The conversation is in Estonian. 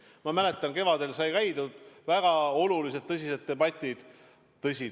Ma mäletan, et kevadel sai käidud, väga olulised tõsised debatid olid.